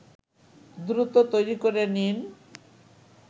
দ্রুত তৈরি করে নিন